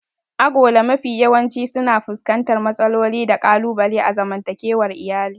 Agola mafi yawanci suna fuskantar matsaloli da ƙalubale a zaman takewar iyali.